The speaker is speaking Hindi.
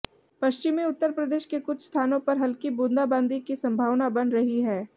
पश्चिमी उत्तर प्रदेश के कुछ स्थानों पर हल्की बूंदाबांदी की संभावना बन रही है